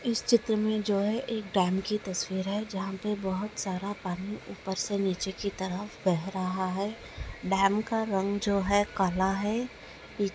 इस चित्र में जो है एक डैम की तस्वीर है जहाँ पे बहुत सारा पानी ऊपर से नीचे की तरफ बह रहा है डैम का रंग जो हैं काला है। ]